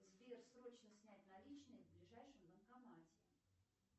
сбер срочно снять наличные в ближайшем банкомате